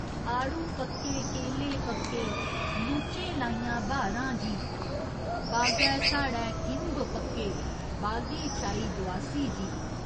आडू पक्के, केले पक्के, लूचें लाइयां ब्हारां जी बागै साढ़े किंब पक्के, बागें छाई दोआसी जी।